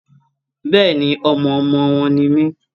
Bẹ́ẹ̀ni, ọmọ ọmọ wọn ni mí.